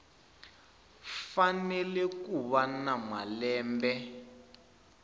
fanele ku va na malembe